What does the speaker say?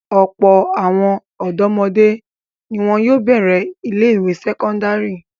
Ọ̀pọ̀ àwọn ọ̀dọ́mọdé ni wọn yóò bẹ̀rẹ̀ ilé-ìwé sẹ́kọ́ndárì.